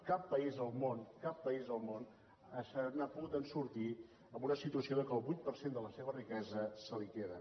cap país del món cap país del món se n’ha pogut sortir amb una situació en què el vuit per cent de la seva riquesa se la hi queden